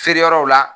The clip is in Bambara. Feere yɔrɔw la